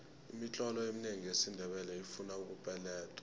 imitlolo eminengi yesindebele ifuna ukupeledwa